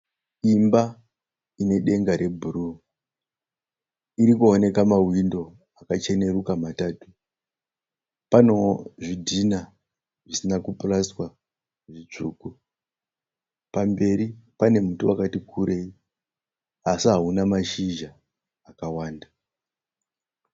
Imba ine denga rebhuruu irikuoneka mahwindo akachenuruka matatu panewo zvidhinha zvisina kupurasitiwa zvitsvuku pamberi pane muti wakati kurei asi hauna mashizha akawanda.